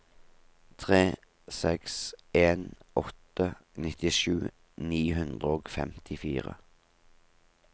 tre seks en åtte nittisju ni hundre og femtifire